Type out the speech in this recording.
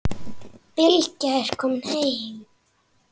Bylgja er komin heim.